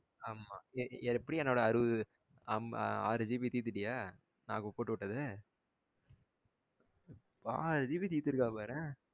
ஆமாம் எ எ எப்படி என்னோட அறுவது ஆமா ஆறு GB திர்த்துட்டியா நா இப்ப போட்டு உட்டத ஆறு GB திர்த்துருக்கா பாரேன்